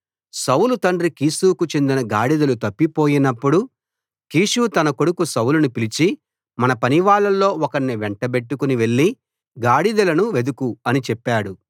సౌలు తండ్రి కీషుకు చెందిన గాడిదలు తప్పిపోయినపుడు కీషు తన కొడుకు సౌలును పిలిచి మన పనివాళ్ళలో ఒకణ్ణి వెంటబెట్టుకుని వెళ్ళి గాడిదలను వెదుకు అని చెప్పాడు